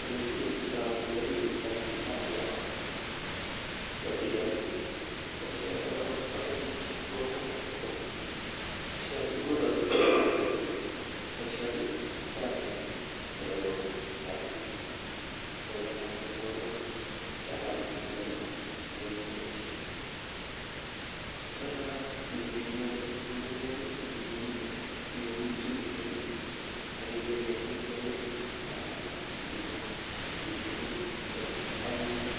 olekinetitoi. olekimetitoi chito akobo boisioni boisioni kora kobo komonut eng kokwet aketugul boisioni nguno, boisioni kotoreti olelooi toreti ngalekab chepkondok yakabit ki kole imuch keboisie ole korok ichenge ngungunyek siiul tubinik akicheng ketik che ready alafu siinde tubinik akirip